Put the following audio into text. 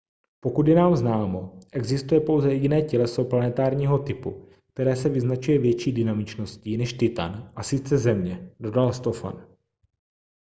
pokud je nám známo existuje pouze jediné těleso planetárního typu které se vyznačuje větší dynamičností než titan a sice země dodal stofan